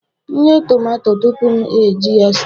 M ghee tomato tupu m eji ya stew